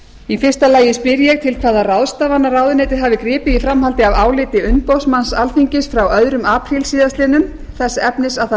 í fyrsta lagi spyr ég til hvaða ráðstafana ráðuneytið hafi gripið í framhaldi af áliti umboðsmanns alþingis frá öðrum apríl síðastliðnum þess efnis að það